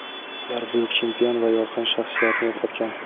Ular buyuk chempion va yorqin shaxsiyatni yo‘qotgan.